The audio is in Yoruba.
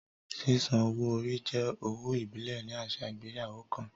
Sísan owó orí jẹ́ owó ìbílẹ̀ ní àṣà ìgbéyàwó kan